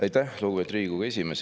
Aitäh, lugupeetud Riigikogu esimees!